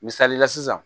Misalila sisan